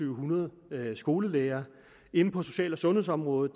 hundrede skolelærere inden for social og sundhedsområdet